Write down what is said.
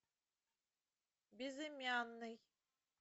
безымянный